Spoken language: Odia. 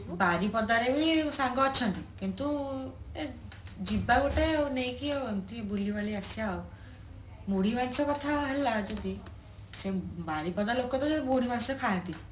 ବାରିପଦା ରେ ହିଁ ସାଙ୍ଗ ଅଛନ୍ତି କିନ୍ତୁ ଯିବା ଗୋଟେ ଆଉ ନେଇକି ଆଉ ଏମିତି ବୁଲିବାଲି ଆସିବା ଆଉ ମୁଢି ମାଂସ କଥା ହେଲା ଯଦି ବାରିପଦା ଲୋକତ ମୁଢି ମାଂସ ଖାଆନ୍ତି